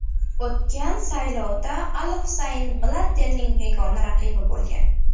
O‘tgan saylovda al Husayn Blatterning yagona raqibi bo‘lgan.